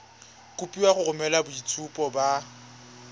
kopiwa go romela boitshupo ba